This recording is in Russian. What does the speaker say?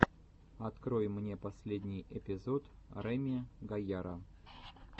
открой мне последний эпизод реми гайяра